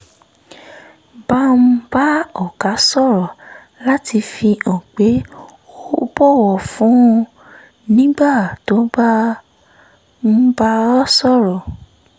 bá ń bá ọ̀gá sọ̀rọ̀ láti fi hàn pé ó bọ̀wọ̀ fún un nígbà tó bá ń bá a sọ̀rọ̀